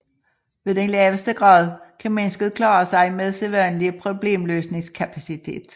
Ved den laveste grad kan mennesket klare sig med sædvanlige problemløsningskapacitet